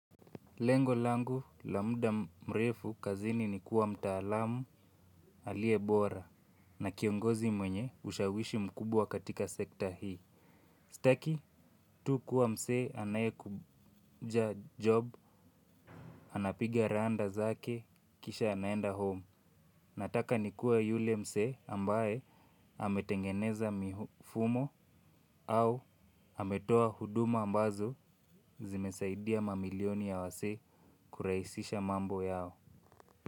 Lengo langu la muda mrefu kazini ni kuwa mtaalamu aliebora na kiongozi mwenye ushawishi mkubwa katika sekta hii. Sitaki tu kuwa mzee anaye kuja job, anapiga randa zake, kisha anaenda home. Nataka ni kuwa yule mzee ambaye ametengeneza mifumo au ametoa huduma ambazo zimesaidia mamilioni ya wazee kurahisisha mambo yao.